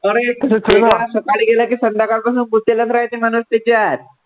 सकाळी गेलं की संध्याकाळीपर्यंत भुकेलच राहायचं मनस्थिती आहे.